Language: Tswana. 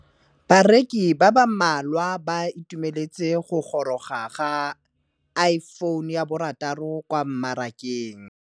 Bareki ba ba malwa ba ituemeletse go gôrôga ga Iphone6 kwa mmarakeng.